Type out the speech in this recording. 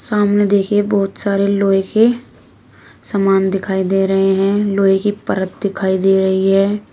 सामने देखिए बहुत सारी लोहे के समान दिखाई दे रहे हैं लोहे की परत दिखाई दे रही है।